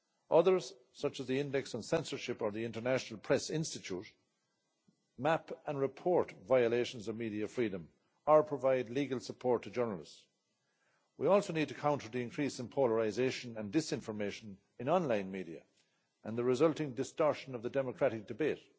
Others, such as the Index On Censorship or the International Press Institute, map and report violations of media freedom or provide legal support to journalists. We also need to counter the increase in polarisation and disinformation in online media and the resulting distortion of the democratic debate.